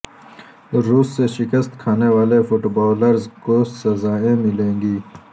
روس سے شکست کھانے والے فٹبالرز کو سزائیں ملیں گی